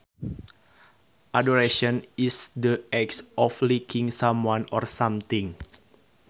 Adoration is the act of liking someone or something